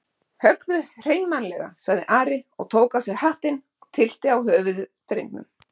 Höggðu hreinmannlega, sagði Ari og tók af sér hattinn og tyllti á höfuð drengnum.